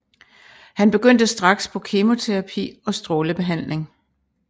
Han begyndte straks på kemoterapi og strålebehandling